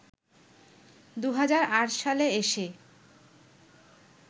২০০৮ সালে এসে